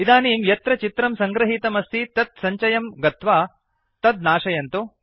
इदनीं यत्र चित्रं संगृहीतमस्ति तत् सञ्चयम् गत्वा तत् नाशयन्तुडिलीट् कुर्वन्तु